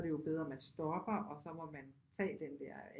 Så er det jo bedre man stopper og så må man tage den der